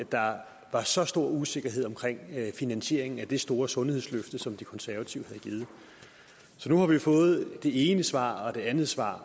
der var så stor usikkerhed omkring finansieringen af det store sundhedsløfte som de konservative havde givet nu har vi fået det ene svar og det andet svar